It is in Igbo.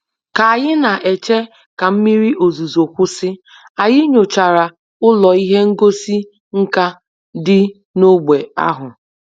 Ka anyị na-eche ka mmiri ozuzo kwụsị, anyị nyochara ụlọ ihe ngosi nka dị n'ógbè ahụ